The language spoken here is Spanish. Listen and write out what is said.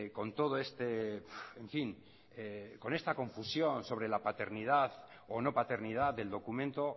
con toda esta confusión sobre la paternidad o no paternidad del documento